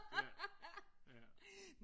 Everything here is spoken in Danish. Ja ja